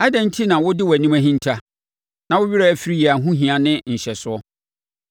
Adɛn enti na wode wʼanim ahinta na wo werɛ firi yɛn ahohia ne nhyɛsoɔ?